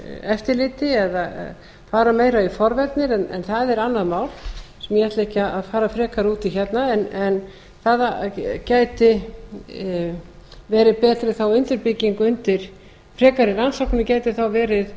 eftirliti eða fara meira í forvarnir en það er annað mál sem ég ætla ekki að fara frekar út í hérna en það gæti verði betri þá undirbygging undir frekari rannsókn gætu þá verið